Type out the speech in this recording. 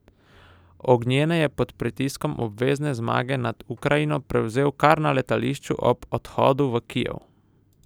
Ognjene je pod pritiskom obvezne zmage nad Ukrajino prevzel kar na letališču ob odhodu v Kijev!